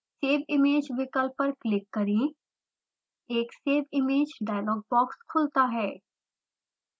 save image विकल्प पर click करें एक save image डायलॉग बॉक्स खुलता है